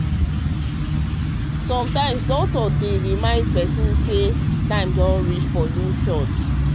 sometimes doctor dey remind person say time don reach for new shot.